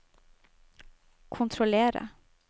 kontrollere